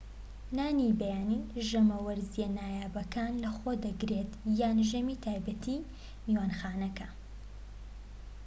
نانی بەیانی ژەمە وەرزیە نایابەکان لەخۆ دەگرێت یان ژەمی تایبەتیی میوانخانەکە